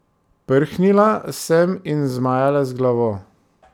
Prhnila sem in zmajala z glavo.